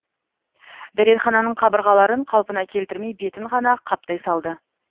дәретхананың қабырғаларын қалпына келтірмей бетін ғана қаптай салды